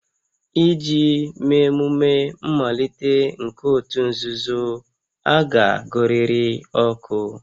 Iji mee emume mmalite nke òtù nzuzo, a ga-agụrịrị oku